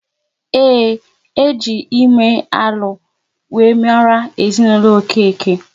Ee, e ji ime alụ wéré mara ezinaụlọ Okeke